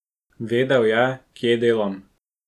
Vedel je, kje delam.